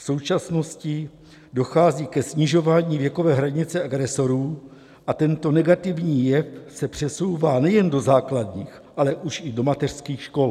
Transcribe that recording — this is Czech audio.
V současnosti dochází ke snižování věkové hranice agresorů a tento negativní jev se přesouvá nejen do základních, ale už i do mateřských škol.